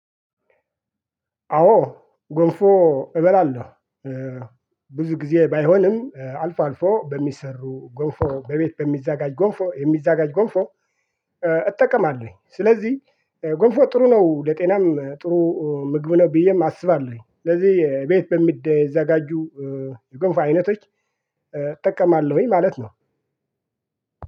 አዎ ጎንፎ እበላለሁ። ብዙ ጊዜ ባይሆንም አልፎ አልፎ በሚሰሩ ጎንፎ በቤት በሚዘጋጅ ጎንፎ የሚዘጋጅ ጎንፎ። እጠቀማለሁ ስለዚህ ገንፎ ጥሩ ነው ለጤናም ጥሩ ምግብ ነው ብዬም አስባለሁኝ። ስለዚህ ቤት በሚዘጋጁ ገንፎ አይነቶች እጠቀማለሁኝ ማለት ነው።